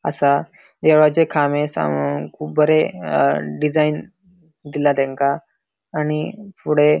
असा देवाचे खामे सामाळुक बरे डिजाइन दिला तेंका आणि फुड़े --